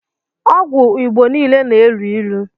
ọgwụ igbọ niile na- elụ ilụ